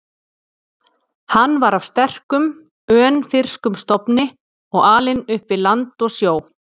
Hann var af sterkum, önfirskum stofni og alinn upp við land og sjó.